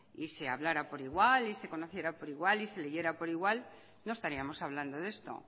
y se hablara por igual y se conociera por igual y se leyera por igual no estaríamos hablando de esto